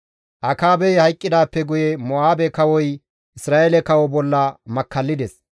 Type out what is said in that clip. Akaabey hayqqidaappe guye Mo7aabe kawoy Isra7eele kawo bolla makkallides.